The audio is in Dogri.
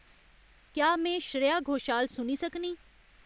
क्या में श्रेया घोषाल सुनी सकनीं